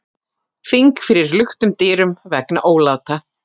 Þing fyrir luktum dyrum vegna óláta